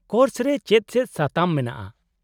-Course ᱨᱮ ᱪᱮᱫ ᱪᱮᱫ ᱥᱟᱛᱟᱢ ᱢᱮᱱᱟᱜᱼᱟ ?